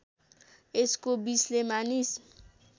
यसको विषले मानिस